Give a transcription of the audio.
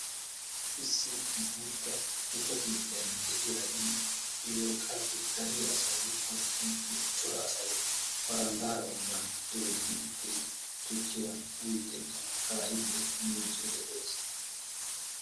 Issi guutta tukke keettan de'iya i wolqqaappe dariya asay woikko cora asay ba hangaara ubbaa dooddi uttidi tukkiya uyiidinne kaa'idi miiccid de'ees.